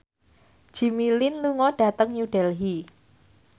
Jimmy Lin lunga dhateng New Delhi